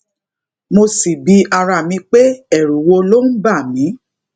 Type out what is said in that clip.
mo sì bi ara mi pé èrù wo ló ń bà mí